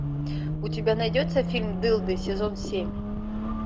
у тебя найдется фильм дылды сезон семь